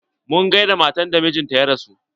Mun gaida matar da mijinta ya rasu.